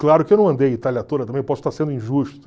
Claro que eu não andei a Itália toda também, eu posso estar sendo injusto.